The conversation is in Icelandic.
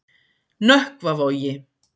Nökkvavogi